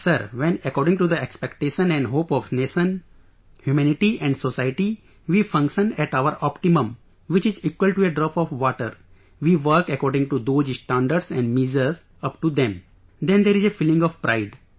And sir, when according to the expectation and hope of the nation, humanity and society, we function at our optimum which is equal to a drop of water, we work according to those standards and measure upto them, then there is a feeling of pride